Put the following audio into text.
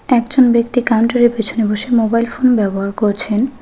একজন ব্যক্তি কাউন্টারের পিছনে বসে মোবাইল ফোন ব্যবহার করেছেন।